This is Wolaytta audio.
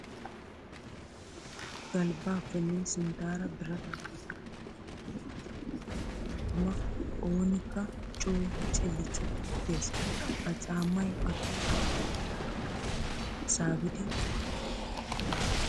Galbbappenne sinttara biratappe merettidda karetta caama wottin tuma oonikka coo cillicilli gees. Ha caamay atuma asaa muliya puulan saabiddi ehees.